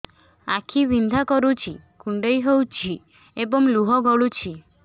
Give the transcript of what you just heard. ଆଖି ବିନ୍ଧା କରୁଛି କୁଣ୍ଡେଇ ହେଉଛି ଏବଂ ଲୁହ ଗଳୁଛି